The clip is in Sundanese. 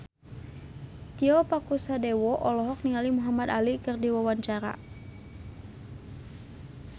Tio Pakusadewo olohok ningali Muhamad Ali keur diwawancara